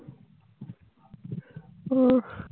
উহ